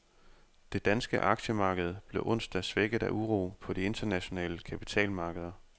Det danske aktiemarked blev onsdag svækket af uro på de internationale kapitalmarkeder.